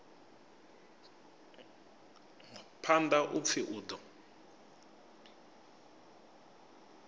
phanḓa u pfi u ḓo